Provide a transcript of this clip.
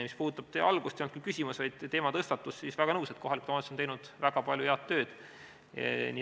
Mis puudutab teie küsimuse algust – see ei olnud küll küsimus, vaid teematõstatus –, siis olen väga nõus, et kohalikud omavalitsused on teinud väga palju head tööd.